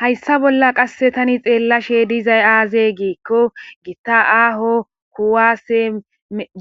Hayssa bolla tan xelashe dizay aze gikko gita aho kuwase